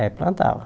É, plantava.